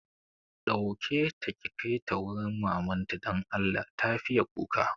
Ɗauke ta ki kaita wurin mamanta don Allah, ta fiye kuka